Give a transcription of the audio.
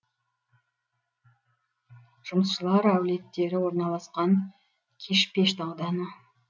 жұмысшылар әулеттері орналасқан кишпешт ауданы